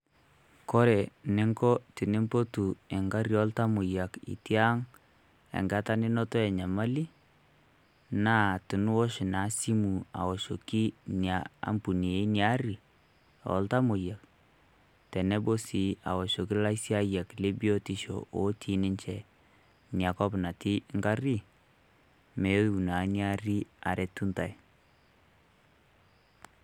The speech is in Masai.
Kore ninko tinimpotu eng'arri oltamoyiak itii ang' enkata ninoto enyamali, naa tiniosh naa e simu aoshoki enia ampuni o iltamoyiak teneboo sii aoshi laisainyak lo biotisho otii ninchee nia kop natii ng'arri meeu naa nia aari aretu ntai.